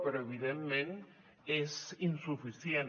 però evidentment és insuficient